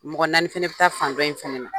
Mɔgɔ naani fana bi taa fan dɔn in fana na.